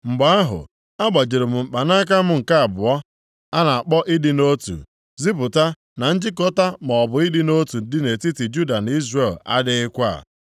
Mgbe ahụ, agbajiri m mkpanaka m nke abụọ a na-akpọ Ịdị nʼotu, izipụta na njikọta maọbụ ịdị nʼotu dị nʼetiti Juda na Izrel adịghịkwa.